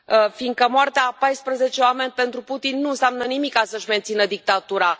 Fiindcă moartea a paisprezece oameni pentru Putin nu înseamnă nimic ca să își mențină dictatura.